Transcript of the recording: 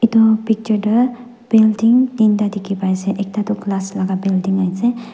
itu picture de building tinta dikhi paiase ekta tu glass la building ase.